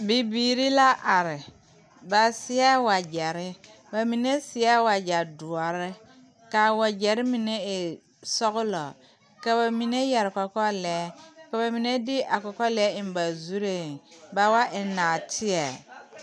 Bibiire la are ba seɛɛ wagyɛre ba mine seɛ wagyɛ doɔre kaa wagyɛre mine e sɔglɔ ka ba mine yɛre kɔkɔre lɛɛ ka ba mine de a kɔkɔ lɛɛ eŋ ba zurreŋ ba wa eŋ naateɛ.